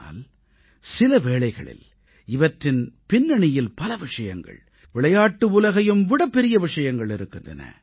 ஆனால் சில வேளைகளில் இவற்றின் பின்னணியில் பல விஷயங்கள் விளையாட்டு உலகையும் விடப் பெரிய விஷயங்கள் இருக்கின்றன